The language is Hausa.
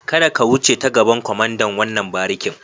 Kada ka wuce ta gaban kwamandan wannan barikin.